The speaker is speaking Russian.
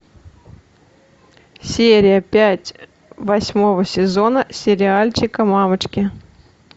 серия пять восьмого сезона сериальчика мамочки